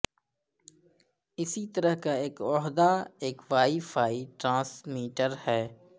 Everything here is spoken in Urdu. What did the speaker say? اسی طرح کا ایک عہدہ ایک وائی فائی ٹرانسمیٹر ہے